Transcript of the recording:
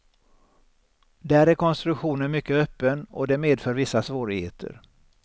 Där är konstruktionen mycket öppen och det medför vissa svårigheter.